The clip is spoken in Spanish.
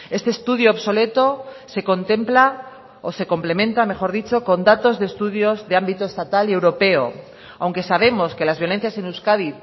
este estudio obsoleto se contempla o se complementa mejor dicho con datos de estudio de ámbito estatal y europeo aunque sabemos que las violencias en euskadi